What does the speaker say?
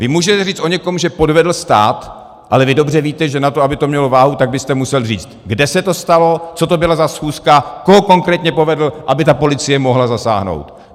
Vy můžete říct o někom, že podvedl stát, ale vy dobře víte, že na to, aby to mělo váhu, tak byste musel říct, kde se to stalo, co to bylo za schůzku, koho konkrétně podvedl, aby ta policie mohla zasáhnout.